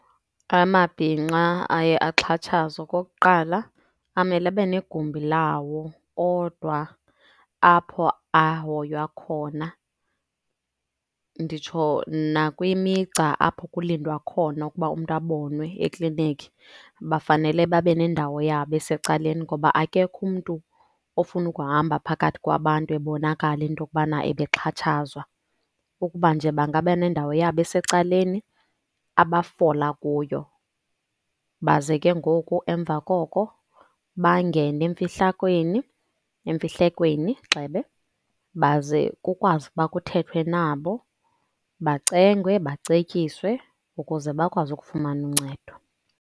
Amabhinqa aye axhatshazwa okokuqala amele abe negumbi lawo odwa apho ahoywa khona. Nditsho nakwimigca apho kulindwa khona ukuba umntu abonwe ekliniki, bafanele babe nendawo yabo esecaleni ngoba akekho umntu ofuna ukuhamba phakathi kwabantu ebonakala into yokubana ebexhatshazwa. Ukuba nje bangaba nendawo yabo esecaleni abafola kuyo, baze ke ngoku emva koko bangene emfihlakweni, emfihlekweni gxebe. Baze kukwazi ukuba kuthethwe nabo bacengwe, bacetyiswe ukuze bakwazi ukufumana uncedo.